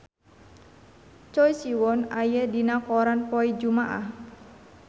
Choi Siwon aya dina koran poe Jumaah